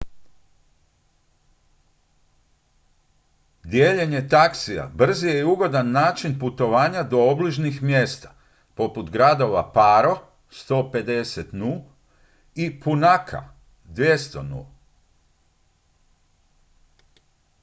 dijeljenje taksija brz je i ugodan način putovanja do obližnjih mjesta poput gradova paro 150 nu. i punakha 200 nu.